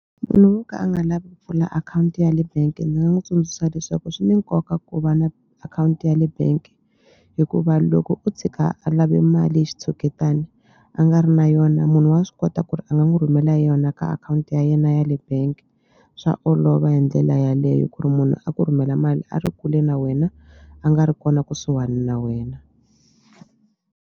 Munhu wo ka a nga lavi ku pfula akhawunti ya le bank-e ni nga n'wi tsundzuxa leswaku swi ni nkoka ku va na akhawunti ya le bank hikuva loko o tshika a lave mali hi xitshuketani a nga ri na yona munhu wa swi kota ku ri a nga n'wi rhumela yona ka akhawunti ya yena yale bank swa olova hi ndlela yaleyo ku ri munhu a ku rhumela mali a ri kule na wena a nga ri kona kusuhani na wena.